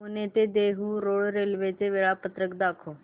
पुणे ते Dehu road railway चे वेळापत्रक दाखव